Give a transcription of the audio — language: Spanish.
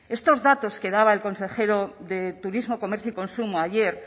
estos datos que daba el consejero de turismo comercio y consumo ayer